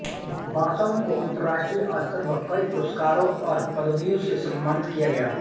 Basham को अंतरराष्टीय स्तर पर कई पुरस्कारों और पदवियों से सम्मानित किया गया